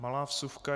Malá vsuvka.